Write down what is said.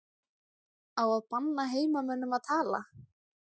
Á að banna heimamönnum að tala?